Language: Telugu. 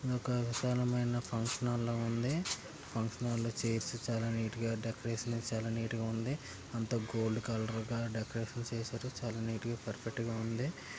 ఒక విశాలమైన ఫంక్షన్ హాల్ ల ఉంది. ఫంక్షన్ హాల్లో చైర్స్ చాలా నీట్ గా డెకరేషన్ చేశారు. చాలా నీట్ అంత గోల్డ్ కలర్ డెకరేషన్ చేశారు. చాలా చాలా నీట్ గా ఉంది.